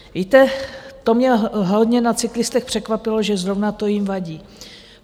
Víte, to mě hodně na cyklistech překvapilo, že zrovna to jim vadí.